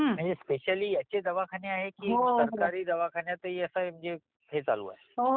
म्हणजे स्पेशियली याचे दवाखाने आहे कि फक्त सरकारी दवाखान्यातही याचा हे चालू आहे